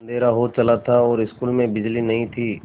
अँधेरा हो चला था और स्कूल में बिजली नहीं थी